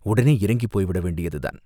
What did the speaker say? உடனே இறங்கிப் போய்விட வேண்டியதுதான்!